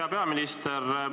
Hea peaminister!